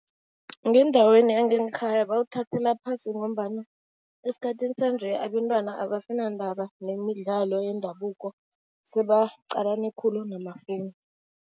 Ngendaweni yangekhaya bawuthathela phasi ngombana esikhathini sanje abentwana abasendaba nemidlalo yendabuko, sebaqalane khulu namafowunu.